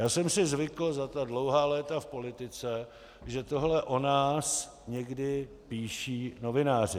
Já jsem si zvykl za ta dlouhá léta v politice, že tohle o nás někdy píší novináři.